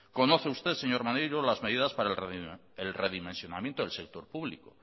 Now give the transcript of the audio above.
conoce usted señor maneiro las medidas para el redimensionamiento del sector público